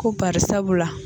Ko parisabu la